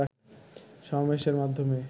সমাবেশের মাধ্যমে